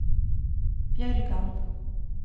Bjørgan